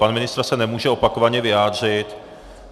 Pan ministr se nemůže opakovaně vyjádřit.